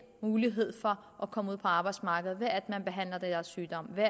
mulighed for at komme ud på arbejdsmarkedet ved at man behandler deres sygdomme ved